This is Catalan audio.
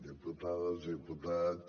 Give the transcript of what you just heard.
diputades diputats